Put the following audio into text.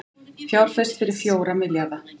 Fjárfest fyrir fjóra milljarða